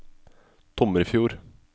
Tomrefjord